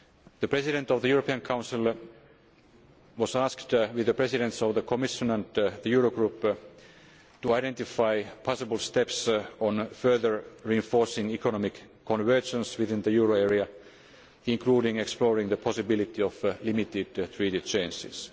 union. The President of the European Council was asked, with the Presidents of the Commission and the Euro Group, to identify possible steps on further reinforcing economic convergence within the euro area, including exploring the possibility of limited Treaty